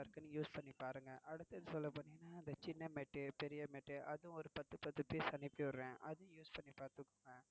நல்லா இருக்குனு use பன்னி பாருங்க. அடுத்து சொல்ல போனீங்கன்னா இந்த சின்ன mat பெரிய mat அதும் ஒரு பத்து பத்து பீஸ் அனுப்பிவிடுறேன். அதும் use பன்னி பாத்துக்கோங்க.